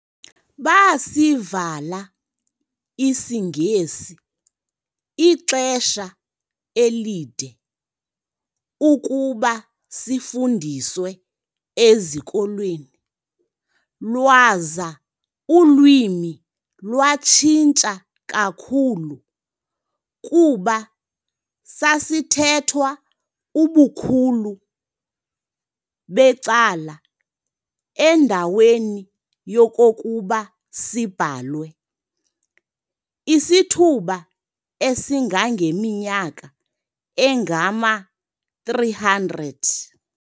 Baasivala isiNgesi ixesha elide ukuba sifundiswe ezikolweni, lwaza ulwimi lwatshintsha kakhulu, kuba sasithethwa ubukhulu becala endaweni yokokuba sibhalwe, isithuba esingangeminyaka engama-300.